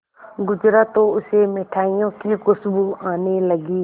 गुजरा तो उसे मिठाइयों की खुशबू आने लगी